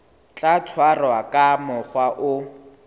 tla tshwarwa ka mokgwa o